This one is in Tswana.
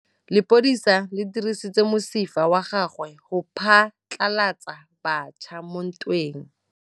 Lepodisa le dirisitse mosifa wa gagwe go phatlalatsa batšha mo ntweng.